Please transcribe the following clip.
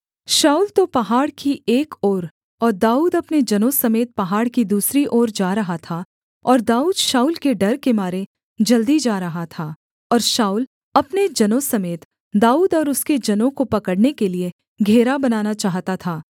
शाऊल तो पहाड़ की एक ओर और दाऊद अपने जनों समेत पहाड़ की दूसरी ओर जा रहा था और दाऊद शाऊल के डर के मारे जल्दी जा रहा था और शाऊल अपने जनों समेत दाऊद और उसके जनों को पकड़ने के लिये घेरा बनाना चाहता था